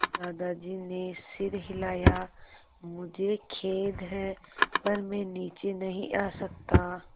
दादाजी ने सिर हिलाया मुझे खेद है पर मैं नीचे नहीं आ सकता